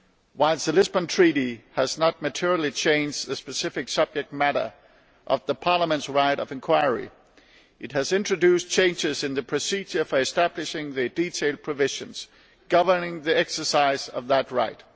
Whilst the Lisbon Treaty has not materially changed the specific subject matter covered by Parliament's right of inquiry, it has introduced changes in the procedure for establishing the detailed provisions governing the exercise of that right.